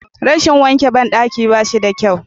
Rashin wanke bandaki ba shi da kyau.